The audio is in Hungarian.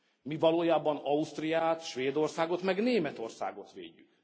Mi valójában Ausztriát, Svédországot, meg Németországot védjük.